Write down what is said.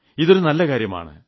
ഇതൊരു നല്ല കാര്യമാണ്